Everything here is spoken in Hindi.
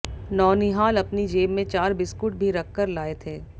नौनिहाल अपनी जेब में चार बिस्कुट भी रखकर लाये थे